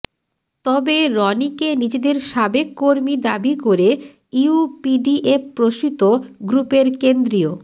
তবে রনিকে নিজেদের সাবেক কর্মী দাবি করে ইউপিডিএফ প্রসীত গ্রুপের কেন্দ্রীয়